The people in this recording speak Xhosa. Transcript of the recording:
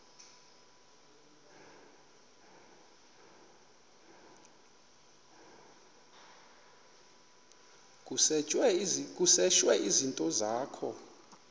kusetshwe izinto zakho